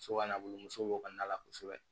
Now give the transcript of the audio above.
So ka na bolo muso kɔnɔna la kosɛbɛ